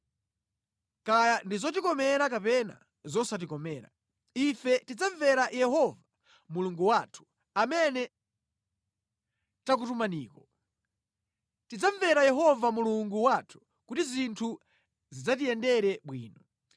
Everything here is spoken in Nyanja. Kaya ndi zotikomera kapena zosatikomera, ife tidzamvera Yehova Mulungu wathu, amene takutumaniko. Tidzamvera Yehova Mulungu wathu kuti zinthu zidzatiyendere bwino.”